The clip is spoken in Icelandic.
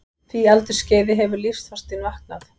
því aldursskeiði hefur lífsþorstinn vaknað.